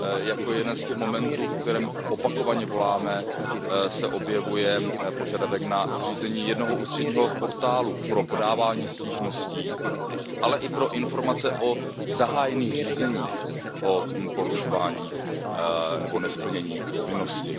Jako jeden z těch momentů, po kterém opakovaně voláme, se objevuje požadavek na zřízení jednoho ústředního portálu pro podávání stížností, ale i pro informace o zahájených řízeních o porušovánínebo nesplnění povinnosti.